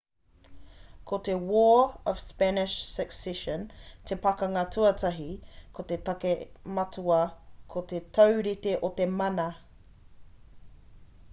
ko te war of spanish succession te pakanga tuatahi ko te take matua ko te taurite o te mana